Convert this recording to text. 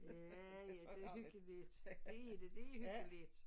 Ja ja det hyggeligt det er det det hyggeligt